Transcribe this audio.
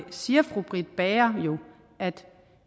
siger fru britt bager